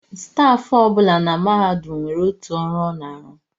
Stafụ ọ bụla na mahadum nwere otu ọrụ ọ na-arụ